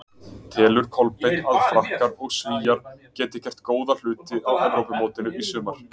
Telur Kolbeinn að Frakkar og Svíar geti gert góða hluti á Evrópumótinu í sumar?